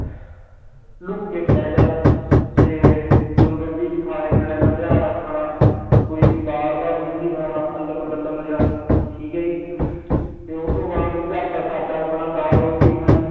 look ਕੇ ਪੈ ਜਾ ਤੇ ਮੈਨੂੰ ਕਹਿੰਦੀ ਵੀ ਖਾਣੇ ਪੀਣੇ ਦਾ ਧਿਆਨ ਰੱਖ ਖਾਣਾ ਕੋਈ ਵੀ ਬਾਹਰ ਦਾ ਕੁਛ ਨੀ ਖਾਣਾ ਅਲਮ ਗਲਮ ਜਿਹਾ ਠੀਕ ਹੈ ਜੀ ਤੇ ਉਹ ਤੋਂ ਬਾਅਦ ਘਰਦਾ ਸਾਦਾ ਖਾਣਾ ਦਾਲ ਰੋਟੀ ਖਾਣੀ